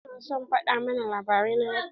Kaka na yana son fada mana labarai na dabba.